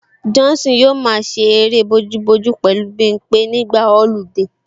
Johnson yóò máa ṣe eré bojúbojú pẹ̀lú Bimpé nígbà ọludé